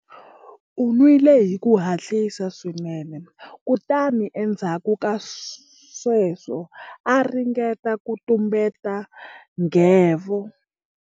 U nwile hi ku hatlisa swinene kutani endzhaku ka sweswo a ringeta ku tumbeta nghevo.